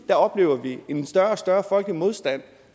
oplever en større og større folkelig modstand